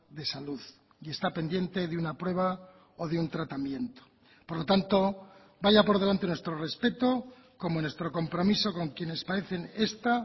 de salud y está pendiente de una prueba o de un tratamiento por lo tanto vaya por delante nuestro respeto como nuestro compromiso con quienes padecen esta